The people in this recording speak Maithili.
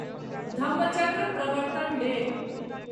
धम्मचक्र प्रवर्तन डे